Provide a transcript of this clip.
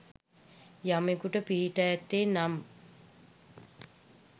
යමෙකුට පිහිටා ඇත්තේ නම්